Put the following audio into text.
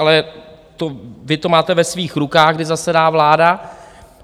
Ale tak vy to máte ve svých rukách, kdy zasedá vláda.